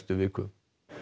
viku